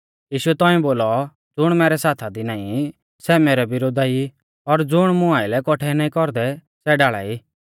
यीशुऐ तौंइऐ बोलौ ज़ुण मैरै साथा दी नाईं सै मैरै विरोधा ई और ज़ुण मुं आइलै कौठै नाईं कौरदै सै ढाल़ा ई